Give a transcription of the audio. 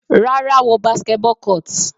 Rárá, wo basketball court.